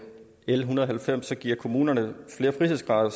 l en hundrede og halvfems giver kommunerne flere frihedsgrader